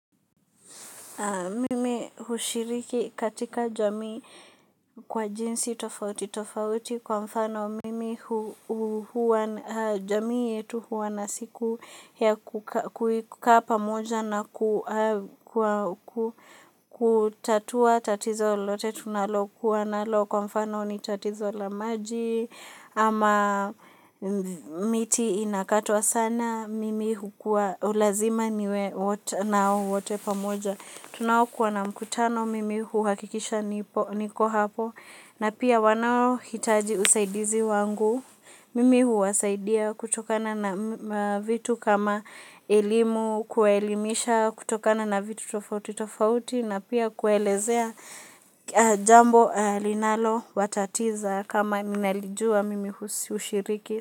Mimi hushiriki katika jamii kwa jinsi tofauti tofauti kwa mfano, mimi huwa, jamii yetu huwa na siku ya kukaa pamoja na hutatua tatizo lote tunalokuwa nalo, kwa mfano ni tatizo la maji, ama miti inakatwa sana, mimi hukua, lazima niwe nao wote pamoja. Tunaokuwa na mkutano mimi huhakikisha niko hapo na pia wanaohitaji usaidizi wangu mimi huwasaidia kutokana na vitu kama elimu kuelimisha kutokana na vitu tofauti tofauti na pia kuelezea jambo linalowatatiza kama mnalijua mimi hushiriki.